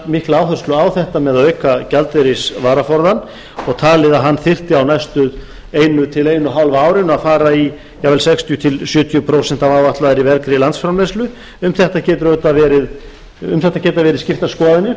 mikla áherslu á þetta með að auka gjaldeyrisvaraforðann og talið að hann þyrfti á næstu eina til eina og hálfa árinu að fara í jafnvel sextíu til sjötíu prósent af áætlaðri vergri landsframleiðslu um þetta geta verið skiptar skoðanir